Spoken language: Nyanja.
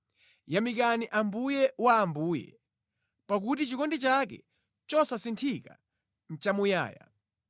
Yamikani Ambuye wa ambuye, pakuti chikondi chake chosasinthika nʼchamuyaya.